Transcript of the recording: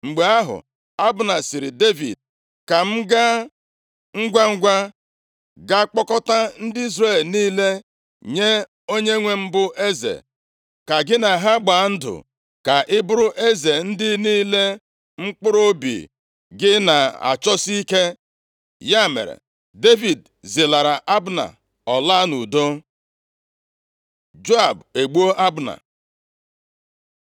Mgbe ahụ, Abna sịrị Devid, “Ka m gaa ngwangwa ga kpọkọtaa ndị Izrel niile, nye onyenwe m bụ eze, ka gị na ha gbaa ndụ, ka ị bụrụ eze ndị niile mkpụrụobi gị na-achọsi ike.” Ya mere Devid zilara Abna. Ọ laa nʼudo. Joab egbuo Abna